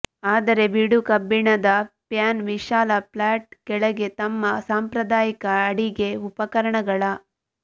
ಆದರೆ ಬೀಡುಕಬ್ಬಿಣದ ಪ್ಯಾನ್ ವಿಶಾಲ ಫ್ಲಾಟ್ ಕೆಳಗೆ ತಮ್ಮ ಸಾಂಪ್ರದಾಯಿಕ ಅಡಿಗೆ ಉಪಕರಣಗಳ